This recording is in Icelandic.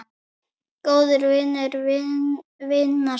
Góður vinur vina sinna.